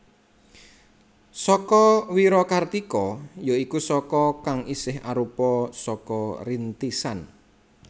Saka Wirakartika ya iku Saka kang isih arupa Saka Rintisan